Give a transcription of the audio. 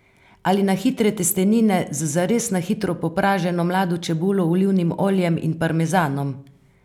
Ali na hitre testenine z zares na hitro popraženo mlado čebulo, olivnim oljem in parmezanom?